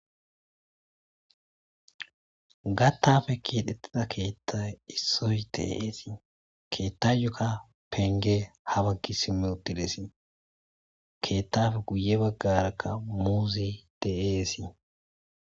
Gattape keexetida keethay issoy de'ees. Keethayoka pengey ha bagga simmi uttidessi .Keethape guye baggaraka muuzey de'essi.